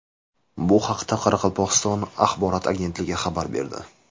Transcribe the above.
Bu haqda Qoraqalpog‘iston axborot agentligi xabar berdi .